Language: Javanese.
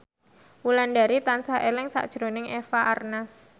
Wulandari tansah eling sakjroning Eva Arnaz